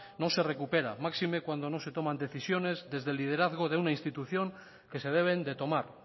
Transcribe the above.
no se recupera máxime cuando no se toman decisiones desde el liderazgo de una institución que se deben de tomar